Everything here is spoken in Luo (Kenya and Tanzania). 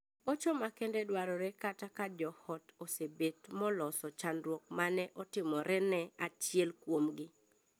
Hocho makende dwarore kata ka joot osebet moloso chandruok mane otimorene achiel kuomgi.